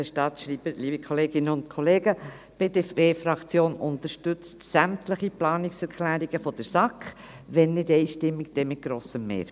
Die BDP-Fraktion unterstützt sämtliche Planungserklärungen der SAK, wenn nicht einstimmig, dann mit grossem Mehr.